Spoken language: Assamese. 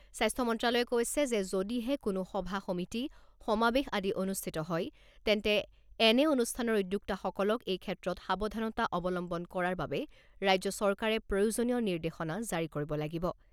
স্বাস্থ্য মন্ত্র্যালয়ে কৈছে যে যদিহে কোনো সভা সমিতি, সমাবেশ আদি অনুষ্ঠিত হয়, তেন্তে এনে অনুষ্ঠানৰ উদ্যোক্তাসকলক এই ক্ষেত্ৰত সাৱধানতা অৱলম্বন কৰাৰ বাবে ৰাজ্য চৰকাৰে প্ৰয়োজনীয় নিৰ্দেশসনা জাৰি কৰিব লাগিব।